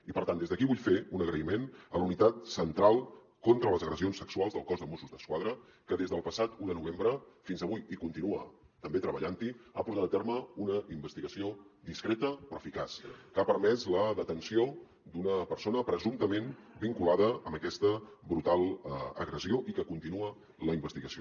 i per tant des d’aquí vull fer un agraïment a la unitat central contra les agressions sexuals del cos de mossos d’esquadra que des del passat un de novembre fins avui continua també treballant hi ha portat a terme una investigació discreta però eficaç que ha permès la detenció d’una persona presumptament vinculada amb aquesta brutal agressió i que continua la investigació